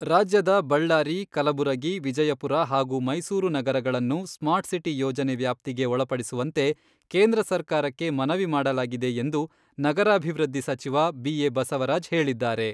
ರಾಜ್ಯದ ಬಳ್ಳಾರಿ, ಕಲಬುರಗಿ, ವಿಜಯಪುರ ಹಾಗೂ ಮೈಸೂರು ನಗರಗಳನ್ನು ಸ್ಮಾರ್ಟ್ಸಿಟಿ ಯೋಜನೆ ವ್ಯಾಪ್ತಿಗೆ ಒಳಪಡಿಸುವಂತೆ ಕೇಂದ್ರ ಸರ್ಕಾರಕ್ಕೆ ಮನವಿ ಮಾಡಲಾಗಿದೆ ಎಂದು ನಗರಾಭಿವೃದ್ಧಿ ಸಚಿವ ಬಿ.ಎ. ಬಸವರಾಜ್ ಹೇಳಿದ್ದಾರೆ.